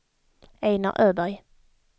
Einar Öberg